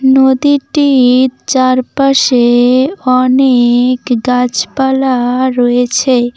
নদীরটির চারপাশে অনেক গাছপালা রয়েছে।